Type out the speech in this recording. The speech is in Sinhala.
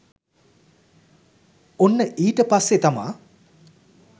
ඔන්න ඊට පස්සෙ තමා